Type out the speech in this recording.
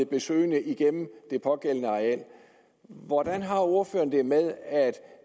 besøgende igennem det pågældende areal hvordan har ordføreren det med at